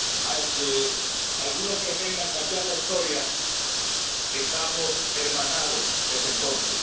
Aunque algunos pretendan cambiar la historia, estamos hermanados desde entonces.